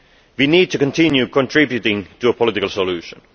We need to continue contributing to a political solution.